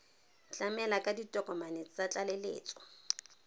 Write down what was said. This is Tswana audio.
tlamela ka ditokomane tsa tlaleletso